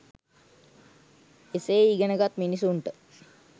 එසේ ඉගෙන ගත් මිනිසුන්ට